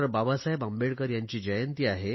बाबासाहेब आंबेडकर यांची जयंती आहे